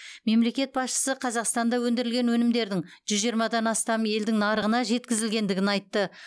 мемлекет басшысы қазақстанда өндірілген өнімдердің жүз жиырмадан астам елдің нарығына жеткізілетіндігін айтты